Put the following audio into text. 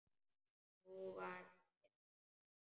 Og nú var ekkert gert.